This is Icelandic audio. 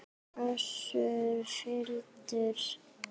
Össur fýldur.